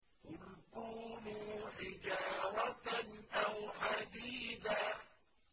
۞ قُلْ كُونُوا حِجَارَةً أَوْ حَدِيدًا